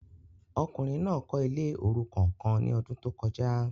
Ọkùnrin náà kọ ilé orukan kàn ní ọdun to kọjá